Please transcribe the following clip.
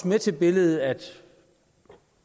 med til billedet at